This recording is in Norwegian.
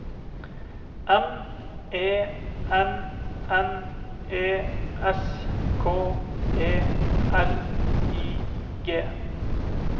M E N N E S K E L I G